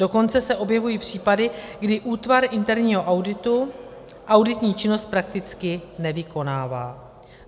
Dokonce se objevují případy, kdy útvar interního auditu auditní činnost prakticky nevykonává.